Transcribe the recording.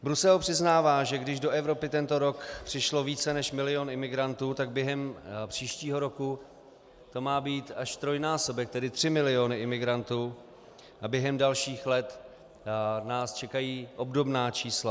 Brusel přiznává, že když do Evropy tento rok přišlo více než milion imigrantů, tak během příštího roku to má být až trojnásobek, tedy tři miliony imigrantů, a během dalších let nás čekají obdobná čísla.